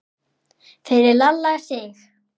Fyrir Lalla Sig.